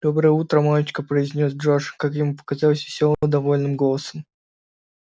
доброе утро мамочка произнёс джордж как ему показалось весёлым довольным голосом